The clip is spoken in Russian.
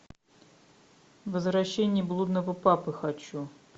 возвращение блудного папы хочу